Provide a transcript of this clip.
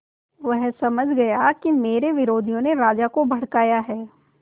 वह समझ गया कि मेरे विरोधियों ने राजा को भड़काया है